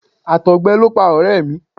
Àtọ̀gbẹ ló pa ọ̀rẹ́ mi.